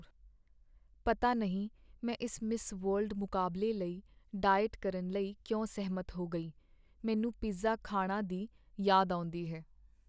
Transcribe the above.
ਪਤਾ ਨਹੀਂ ਮੈਂ ਇਸ ਮਿਸ ਵਰਲਡ ਮੁਕਾਬਲੇ ਲਈ ਡਾਈਟ ਕਰਨ ਲਈ ਕਿਉਂ ਸਹਿਮਤ ਹੋ ਗਈ। ਮੈਨੂੰ ਪੀਜ਼ਾ ਖਾਣਾ ਦੀ ਯਾਦ ਆਉਂਦੀ ਹੈ।